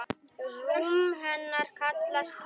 Rúm hennar kallast Kör.